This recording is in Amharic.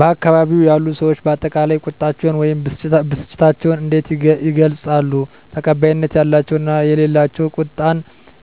በአካባቢው ያሉ ሰዎች በአጠቃላይ ቁጣቸውን ወይም ብስጭታቸውን እንዴት ይገልጻሉ? ተቀባይነት ያላቸው እና የሌላቸው ቁጣን